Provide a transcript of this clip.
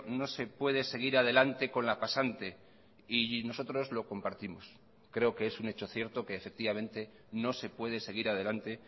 no se puede seguir adelante con la pasante y nosotros lo compartimos creo que es un hecho cierto que efectivamente no se puede seguir adelante